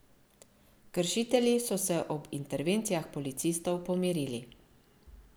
Kršitelji so se ob intervencijah policistov pomirili.